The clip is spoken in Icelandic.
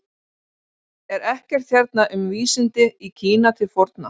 Er ekkert hérna um vísindi í Kína til forna?